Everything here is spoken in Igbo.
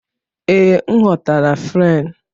Ee, m ghọtara Fren